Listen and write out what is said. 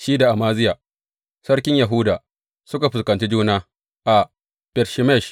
Shi da Amaziya sarkin Yahuda suka fuskanci juna a Bet Shemesh.